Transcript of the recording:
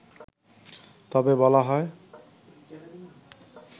তবে বলা হয়